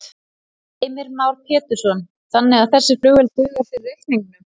Heimir Már Pétursson: Þannig að þessi flugvél dugar fyrir reikningnum?